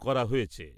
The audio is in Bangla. করা হয়েছে ।